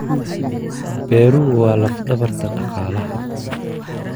Beeruhu waa laf-dhabarta dhaqaalaha.